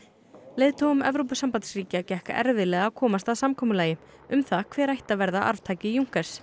leiðtogum Evrópusambandsríkja gekk erfiðlega að komast að samkomulagi um það hver ætti að verða arftaki